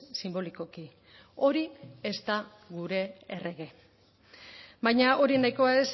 sinbolikoki hori ez da gure errege baina hori nahikoa